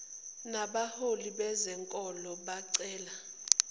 nabaholi bezenkolo bacela